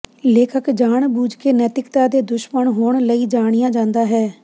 ਲੇਖਕ ਜਾਣਬੁੱਝ ਕੇ ਨੈਤਿਕਤਾ ਦੇ ਦੁਸ਼ਮਣ ਹੋਣ ਲਈ ਜਾਣਿਆ ਜਾਂਦਾ ਹੈ